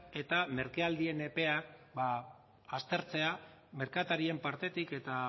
eta merkealdien epea aztertzea merkatarien partetik eta